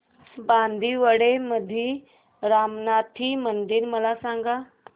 बांदिवडे मधील रामनाथी मंदिर मला सांग